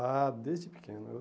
Ah, desde pequeno.